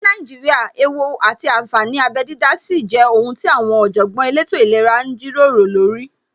Ní Nàíjíríà, ewú àti ànfàní abẹ dídá sì jẹ́ ohun tí àwọn Ọ̀jọ̀gbọ́n elétò ìlera ń jíròrò lórí